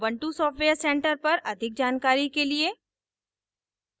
ubuntu software center पर अधिक जानकारी के लिए